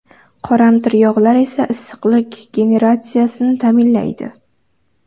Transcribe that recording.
Qoramtir yog‘lar esa issiqlik generatsiyasini ta’minlaydi.